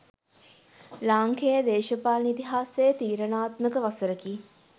ලාංකේය දේශපාලන ඉතිහාසයේ තීරණාත්මක වසරකි